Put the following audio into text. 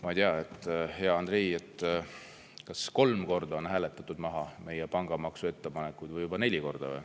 Ma ei tea, hea Andrei, kas kolm korda on hääletatud maha meie pangamaksu ettepanek või juba neli korda.